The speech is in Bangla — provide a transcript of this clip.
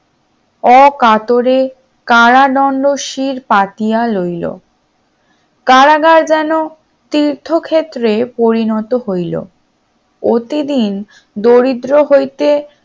অকাতরে কারাদণ্ড শির পাতিয়া লইলো কারাগার যেন তীর্থক্ষেত্রে পরিণত হলো প্রতিদিন দরিদ্র হইতে